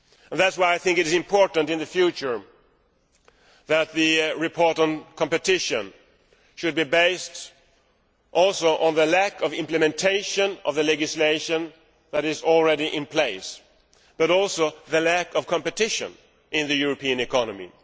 That is why it is important, in the future, that the report on competition should also focus on the lack of implementation of the legislation which is already in place, and also on the lack of competition in the European economy.